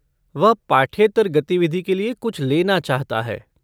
वह पाठ्येतर गतिविधि के लिए कुछ लेना चाहता है।